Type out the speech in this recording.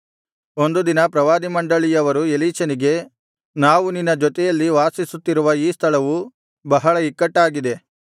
ಒಂದು ದಿನ ಪ್ರವಾದಿಮಂಡಳಿಯವರು ಎಲೀಷನಿಗೆ ನಾವು ನಿನ್ನ ಜೊತೆಯಲ್ಲಿ ವಾಸಿಸುತ್ತಿರುವ ಈ ಸ್ಥಳವು ಬಹಳ ಇಕ್ಕಟ್ಟಾಗಿದೆ